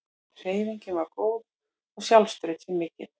Hreyfingin var góð og sjálfstraustið mikið.